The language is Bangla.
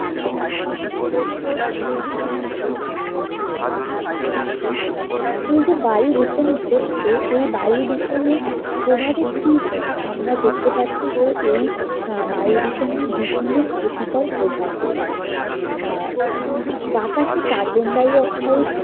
এই যে বায়ু দূষণ ঘটছে এই বায়ু দূষণের প্রভাবে কি হয়? আমরা দেখতে পাচ্ছি যে এই আহ বায়ু দূষণের বিভিন্ন ক্ষতিকর প্রভাব রয়েছে আহ বাতাসে কার্বন ডাই অক্সাইড